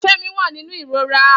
Femi wà nínú ìrora